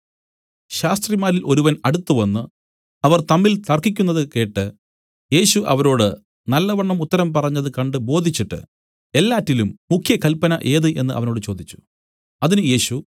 ശാസ്ത്രിമാരിൽ ഒരുവൻ അടുത്തുവന്ന് അവർ തമ്മിൽ തർക്കിക്കുന്നത് കേട്ട് യേശു അവരോട് നല്ലവണ്ണം ഉത്തരം പറഞ്ഞത് കണ്ട് ബോധിച്ചിട്ട് എല്ലാറ്റിലും മുഖ്യകല്പന ഏത് എന്നു അവനോട് ചോദിച്ചു അതിന് യേശു